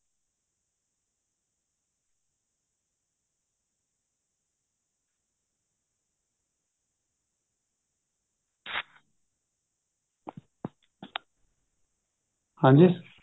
ਹਾਂਜੀ